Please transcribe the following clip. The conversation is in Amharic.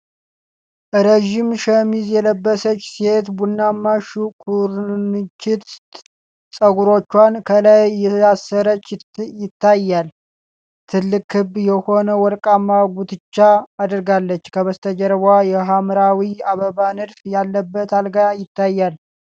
ረዥም ሸሚዝ የለበሰች ሴት ቡናማ ኩርንችት ፀጉሯን ከላይ እያሰረች ይታያል። ትልቅ ክብ የሆነ ወርቃማ ጉትቻ አድርጋለች፤ ከበስተጀርባዋ የሐምራዊ አበባ ንድፍ ያለበት አልጋ ይታያል።